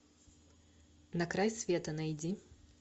на край света найди